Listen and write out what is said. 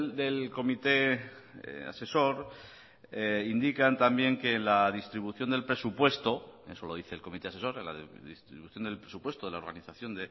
del comité asesor indican también que la distribución del presupuesto eso lo dice el comité asesor la distribución del presupuesto de la organización